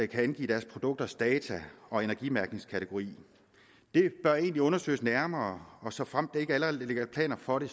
kan angive deres produkters data og energimærkningskategori det bør egentlig undersøges nærmere og såfremt der ikke allerede ligger planer for det